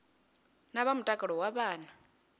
na vha mutakalo wa vhana